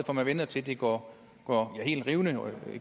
at man venter til det går helt rivende